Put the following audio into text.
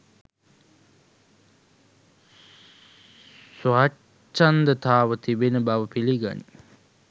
ස්වච්ඡන්දතාව තිබෙන බව පිළිගනී.